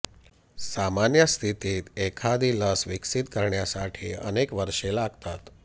सामान्य स्थितीत एखादी लस विकसित करण्यासाठी अनेक वर्षे लागतात